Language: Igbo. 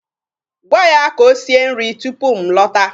Gwa ya ka o sie nri tupu m lọta.